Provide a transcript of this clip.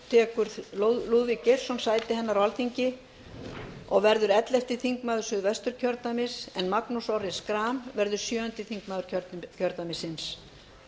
tekur lúðvík geirsson sæti hennar á alþingi og verður ellefti þingmaður suðvesturkjördæmis en magnús orri schram verður sjöundi þingmaður kjördæmisins